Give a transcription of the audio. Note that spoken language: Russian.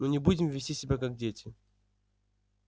ну не будем вести себя как дети